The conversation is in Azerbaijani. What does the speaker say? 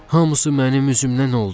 Hamısı mənim üzümdən oldu.